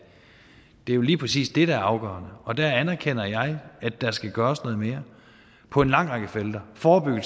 er jo lige præcis det der er afgørende og der anerkender jeg at der skal gøres noget mere på en lang række felter for